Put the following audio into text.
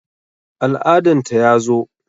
Al'adan ta ya zo